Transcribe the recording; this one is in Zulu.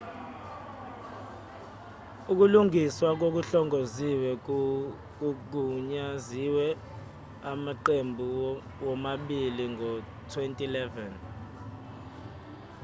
ukulungiswa okuhlongoziwe kugunyaziwe amaqembu womabili ngo-2011